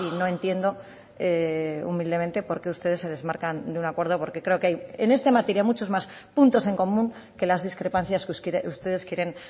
no entiendo humildemente por qué ustedes se desmarcan de un acuerdo porque creo que hay en esta materia muchos más puntos en común que las discrepancias que ustedes quieren